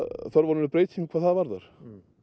þörf á breytingum hvað það varðar